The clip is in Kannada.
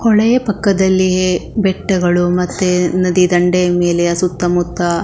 ಹೊಳೆ ಪಕ್ಕದಲ್ಲಿಯೇ ಬೆಟ್ಟಗಳು ಮತ್ತೆ ನದಿ ದಂಡೆಯ ಮೇಲೆ ಸುತ್ತ ಮುತ್ತ.